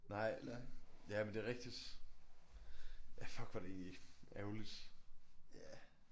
Nej ja men det rigtigt. Ja fuck hvor det ærgerligt